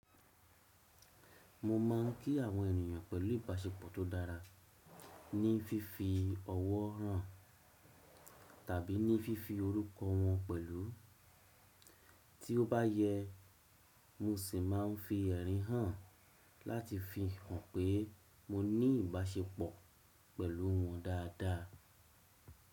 Mo máa ń kí àwọn ènìyàn pẹ̀lú ìbáṣepọ̀ tó dára, ní fífi ọwọ́ hàn tàbí ní fífi orúkọ wọn pẹ̀lú. Tí ó bá yẹ, mo sì máa ń fi ẹ̀rín hàn láti fi hàn pé mo ní ìbáṣepọ̀ pẹ̀lú wọ́n dáadáa.